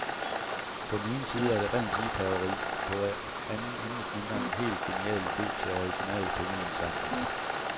På den ene side er det rent liebhaveri, på anden intet mindre end en helt genial idé til original pengeindsamling.